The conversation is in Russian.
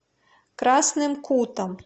красным кутом